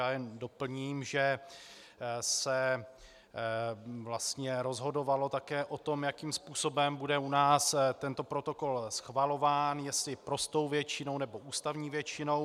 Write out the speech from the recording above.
Já jen doplním, že se vlastně rozhodovalo také o tom, jakým způsobem bude u nás tento protokol schvalován, jestli prostou většinou, nebo ústavní většinou.